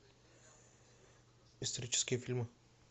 исторические фильмы